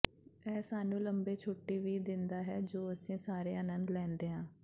ਇਹ ਸਾਨੂੰ ਲੰਬੇ ਛੁੱਟੀ ਵੀ ਦਿੰਦਾ ਹੈ ਜੋ ਅਸੀਂ ਸਾਰੇ ਆਨੰਦ ਲੈਂਦੇ ਹਾਂ